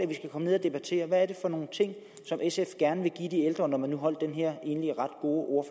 vi skal komme ned at debattere hvad er det for nogle ting som sf gerne vil give de ældre når man nu holdt den her egentlig ret gode